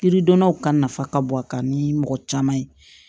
Yiridonnaw ka nafa ka bon a kan ni mɔgɔ caman ye